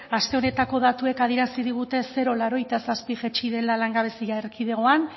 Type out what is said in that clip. aste honetako datuek adierazi digute zero koma laurogeita zazpi jaitsi dela langabezia erkidegoan